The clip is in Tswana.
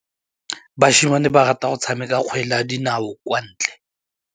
Basimane ba rata go tshameka kgwele ya dinaô kwa ntle.